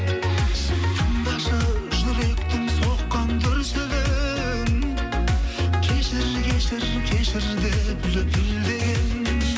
тыңдашы жүректің соққан дүрсілін кешір кешір кешір деп лүпілдеген